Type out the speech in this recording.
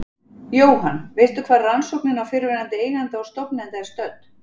Jóhann: Veistu hvar rannsóknin á fyrrverandi eiganda og stofnanda er stödd?